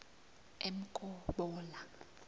emkobola